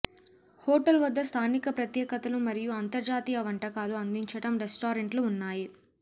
hotel వద్ద స్థానిక ప్రత్యేకతలు మరియు అంతర్జాతీయ వంటకాలు అందించటం రెస్టారెంట్లు ఉన్నాయి